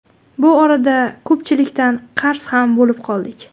Bu orada ko‘pchilikdan qarz ham bo‘lib qoldik.